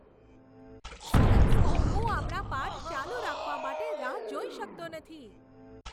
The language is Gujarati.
સરસ! હું આપણા પાઠ ચાલુ રાખવા માટે રાહ જોઈ શકતો નથી.